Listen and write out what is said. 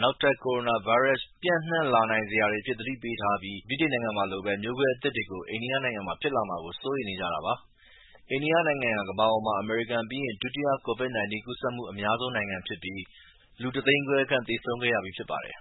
နောက်ထပ် ကိုရိုနာဗိုင်းရပ်ပျ့နှံ့လာနိုင်စရာတွေအဖြစ်သတိပေးထားပြီး ဗြိတိန်နိုင်ငံမှာလိုပဲ မျိုးကွဲအသစ်ကို အိန္ဒိယနိုင်ငံမှာ ဖြစ်လာမှာကို စိုးရိမ်နေကြတာပါ။ အိန္ဒိယနိုင်ငံဟာ ကမ္ဘာပေါ်မှာ အမေရိကန်ပြီးရင် ဒုတိယ COVID-19 ကူးစက်မှုအများဆုံးနိင်ငံဖြစ်ပြီး လူတသိန်းခွဲခန့်သေဆုံးခဲ့ရပြီးဖြစ်ပါတယ်။